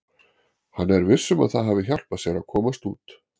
Hann er viss um að það hafi hjálpað sér að komast út.